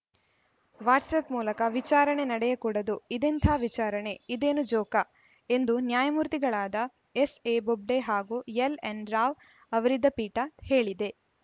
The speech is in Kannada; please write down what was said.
ವಾಟ್ಸ್‌ಆ್ಯಪ್‌ ಮೂಲಕ ವಿಚಾರಣೆ ನಡೆಯಕೂಡದು ಇದೆಂಥಾ ವಿಚಾರಣೆ ಇದೇನು ಜೋಕಾ ಎಂದು ನ್ಯಾಯಮೂರ್ತಿಗಳಾದ ಎಸ್‌ಎ ಬೊಬ್ಡೆ ಹಾಗೂ ಎಲ್‌ಎನ್‌ ರಾವ್‌ ಅವರಿದ್ದ ಪೀಠ ಹೇಳಿದೆ